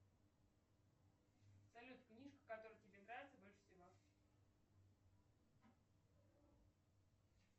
салют книжка которая тебе нравится больше всего